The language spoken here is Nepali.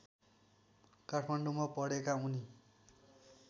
काठमाडौँमा पढेका उनी